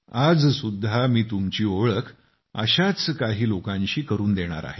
आज सुद्धा मी तुमची ओळख अशाच काही लोकांशी करून देणार आहे